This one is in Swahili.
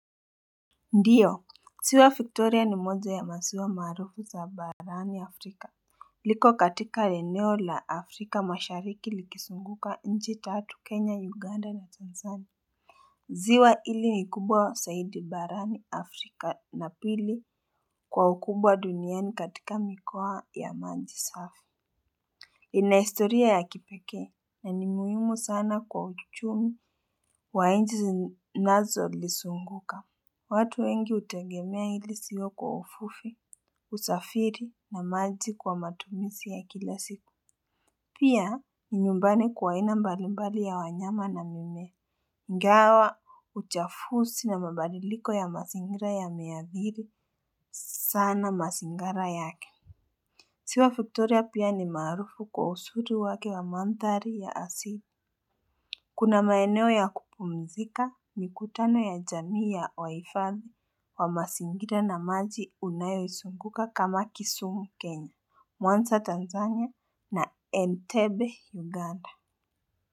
Ndio, ziwa Victoria ni moja ya maziwa maarufu za barani Afrika. Liko katika eneo la Afrika mashariki likizunguka nchi tatu Kenya, Uganda na Tanzania. Ziwa hili ni kubwa zaidi barani Afrika na pili kwa ukubwa duniani katika mikoa ya maji safi. Ina historia ya kipekee na ni muhimu sana kwa uchumi wa nchi inazolizunguka. Watu wengi hutegemea hili sio kwa uvuvi, usafiri na maji kwa matumizi ya kila siku. Pia, ni nyumbani kwa aina mbalimbali ya wanyama na mimea. Ingawa, uchafuzi na mabadiliko ya mazingira yameadhiri. Sana mazingara yake. Ziwa Victoria pia ni maarufu kwa uzuri wake wa mandhari ya asili. Kuna maeneo ya kupumzika mikutano ya jamii ya wahifadhi wa mazingira na maji unayoizunguka kama Kisumu Kenya, Mwanza Tanzania na Entebbe Uganda.